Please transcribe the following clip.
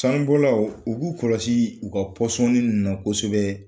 Sanbɔlaw u k'u kɔlɔsi u ka ninnu na kosɛbɛ.